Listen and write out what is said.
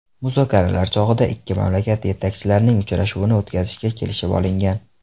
Muzokaralar chog‘ida ikki mamlakat yetakchilarining uchrashuvini o‘tkazishga kelishib olingan.